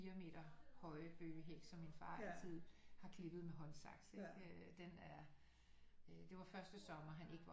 4 meter høje bøgehæk som min far altid har klippet med håndsaks ikke den er det var første sommer han ikke var